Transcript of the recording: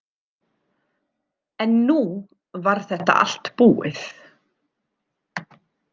En nú var þetta allt búið.